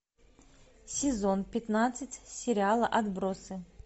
сезон пятнадцать сериала отбросы